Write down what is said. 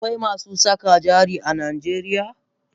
Akwai masu saka jari a najeriya?